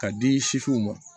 K'a di sisiw ma